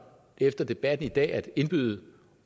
efter debatten i dag at indbyde